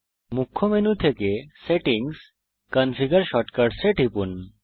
মুখ্য মেনু থেকে settings configure shortcuts এ টিপুন